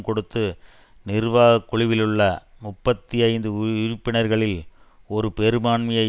கொடுத்து நிர்வாக குழுவிலுள்ள முப்பத்தி ஐந்து உறுப்பினர்களில் ஒரு பெரும்பான்மையை